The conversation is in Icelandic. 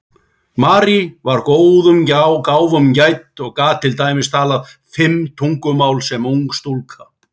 Marie var góðum gáfum gædd og gat til dæmis talað fimm tungumál sem ung stúlka.